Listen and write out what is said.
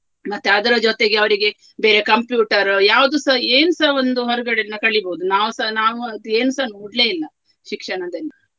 ಮತ್ತೆ ಅದರ ಜೊತೆಗೆ ಅವರಿಗೆ ಬೇರೆ computer ಯಾವುದುಸ ಏನ್ಸ ಒಂದು ಹೊರಗಡೆಯಿಂದ ಕಲಿಬೋದು ನಾವುಸ ನಾವು ಅದು ಏನ್ಸ ನೋಡ್ಲೆ ಇಲ್ಲ ಶಿಕ್ಷಣದಲ್ಲಿ.